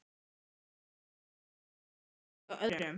Þá minnkar kannski áhuginn hjá öðrum.